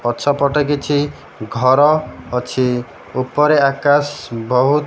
ପଛପଟେ କିଛି ଘର ଅଛି। ଉପରେ ଆକାଶ ବହୁତ୍ --